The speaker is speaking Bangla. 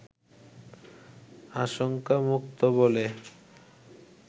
আশঙ্কামুক্ত বলে